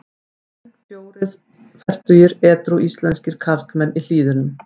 En fjórir fertugir edrú íslenskir karlmenn í Hlíðunum.